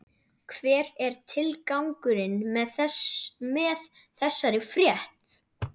Hver er tilgangurinn með þessari frétt?